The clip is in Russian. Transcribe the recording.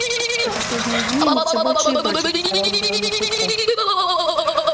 за последние дни они всё больше и больше приставал к белому клыку